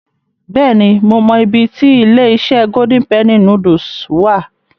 Bẹ́ẹ̀ni, mo mọ ibi ti ilé-iṣẹ́ Golden Penny Noodles wà.